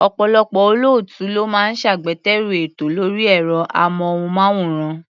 Ọ̀pọ̀lọpọ̀ olóòtú ló máa ń ṣagbátẹrù ètò lórí ẹ̀rọ-amóhùnmáwòrán.